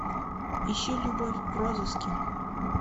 ищи любовь в розыске